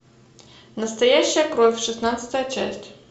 настоящая кровь шестнадцатая часть